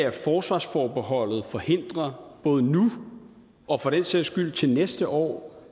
at forsvarsforbeholdet forhindrer både nu og for den sags skyld til næste år